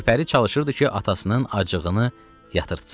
Gülpəri çalışırdı ki, atasının acığını yatırtsın.